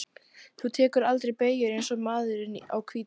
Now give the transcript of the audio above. Þú tekur aldrei beygjur eins og maðurinn á hvíta bátnum.